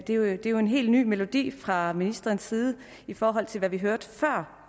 er jo en helt ny melodi fra ministerens side i forhold til hvad vi hørte før